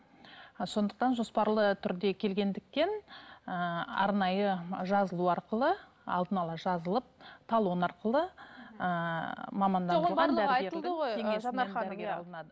і сондықтан жоспарлы түрде келгендіктен ііі арнайы жазылу арқылы алдын ала жазылып талон арқылы ыыы